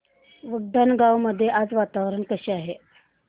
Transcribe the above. उंडणगांव मध्ये आज वातावरण कसे आहे